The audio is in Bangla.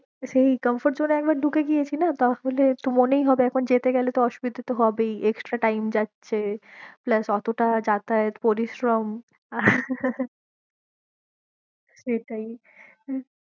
সেই comfort zone এ একবার ঢুকেগিয়েছি না তাহলে একটু মনেই হবে এখন যেতে গেলে তো অসুবিধা হবেই extra time যাচ্ছে plus অতটা যাতায়াত পরিশ্রম সেটাই